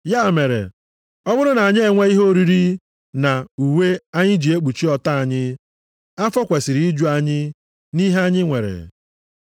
Ya mere, ọ bụrụ na anyị enwe ihe oriri na uwe anyị ji ekpuchi ọtọ anyị, afọ kwesiri iju anyị nʼihe anyị nwere.